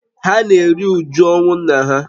Ha na-eru uju ọnwụ nna ha